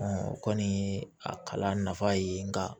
o kɔni ye a kalan nafa ye nka